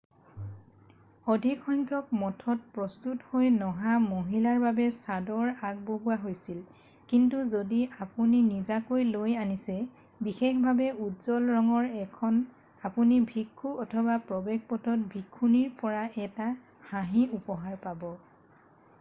অধিক সংখ্যক মঠত প্ৰস্তুত হৈ নহা মহিলাৰ বাবে চাদৰ আগবঢ়োৱা হৈছিল কিন্তু যদি আপুনি নিজাকৈ লৈ আনিছে বিশেষভাৱে উজ্জ্বল ৰঙৰ ১খন আপুনি ভিক্ষু অথবা প্ৰৱেশ পথত ভিক্ষুণীৰ পৰা এটা হাঁহি উপহাৰ পাব।